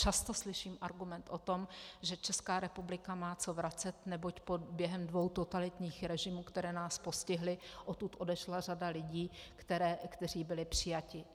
Často slyším argument o tom, že Česká republika má co vracet, neboť během dvou totalitních režimů, které nás postihly, odtud odešla řada lidí, kteří byli přijati.